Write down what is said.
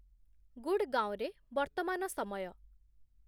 ଗୁଡଗାଓଁରେ ବର୍ତ୍ତମାନ ସମୟ